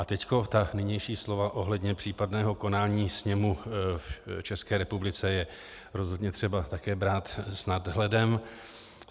A teď ta nynější slova ohledně případného konání sněmu v České republice je rozhodně třeba také brát s nadhledem.